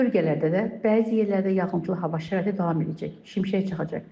Bölgələrdə də bəzi yerlərdə yağıntılı hava şəraiti davam edəcək, şimşək çaxacaq.